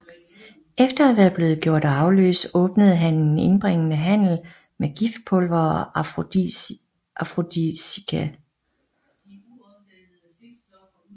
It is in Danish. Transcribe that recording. Efter at være blev gjort arveløs åbnede han en indbringende handel med giftpulvere og afrodisiaka